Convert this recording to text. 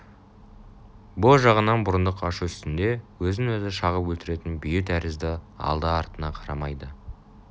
бұ жағынан бұрындық ашу үстінде өзін-өзі шағып өлтіретін бүйі тәрізді алды-артына қарамайды